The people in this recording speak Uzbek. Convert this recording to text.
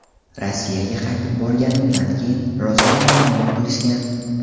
Rossiyaga qaytib borganimdan keyin rosa muammo qilishgan.